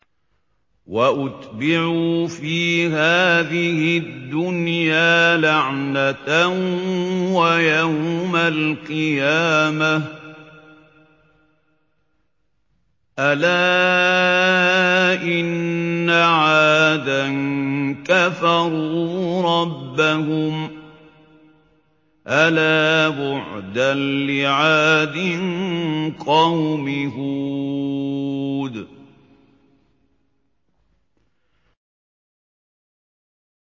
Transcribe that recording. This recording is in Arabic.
وَأُتْبِعُوا فِي هَٰذِهِ الدُّنْيَا لَعْنَةً وَيَوْمَ الْقِيَامَةِ ۗ أَلَا إِنَّ عَادًا كَفَرُوا رَبَّهُمْ ۗ أَلَا بُعْدًا لِّعَادٍ قَوْمِ هُودٍ